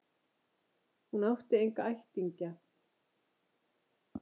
Hún átti enga ættingja.